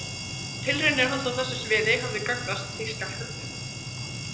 Tilraunir hans á þessu sviði hefðu gagnast þýska hernum.